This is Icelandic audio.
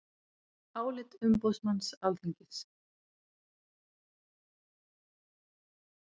Álit umboðsmanns Alþingis